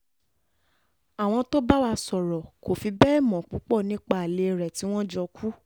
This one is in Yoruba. àwọn tó bá wá sọ̀rọ̀ kò fi bẹ́ẹ̀ mọ púpọ̀ nípa alẹ́ rẹ̀ tí wọ́n jọ kú